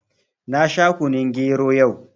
Na sha kunun gero yau